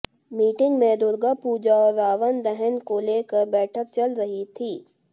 meeting में दुर्गा पूजा और रावण दहन को लेकर बैठक चल रही थी